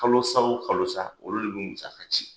Kalosa wo kalosa olu de bɛ musaka ci.